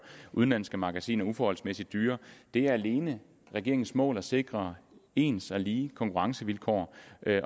udenlandske magasiner uforholdsmæssigt dyre det er alene regeringens mål at sikre ens og lige konkurrencevilkår